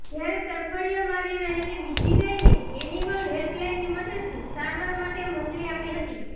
જ્યારે તરફડિયા મારી રહેલી બીજી ગાયને એનિમલ હેલ્પલાઈનની મદદથી સારવાર માટે મોકલી આપી હતી